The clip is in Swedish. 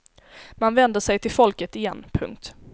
Man vänder sig till folket igen. punkt